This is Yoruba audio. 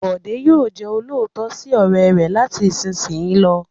Bọ̀dé yóò jẹ olóòótọ́ sí ọ̀rẹ́ rẹ̀ láti ìsìnyí lọ.